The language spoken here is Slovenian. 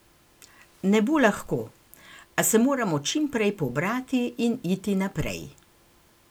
Ne bo lahko, a se moramo čim prej pobrati in iti naprej.